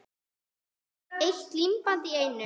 Eitt límband í einu.